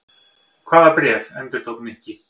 Hvaða bréf? endurtók Nikki.